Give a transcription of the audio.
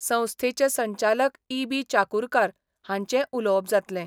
संस्थेचे संचालक E B Chakurkar हांचेंय उलोवप जातलें.